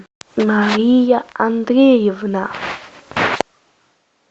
мария андреевна